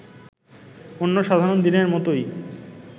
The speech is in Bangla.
অন্য সাধারণ দিনের মতোই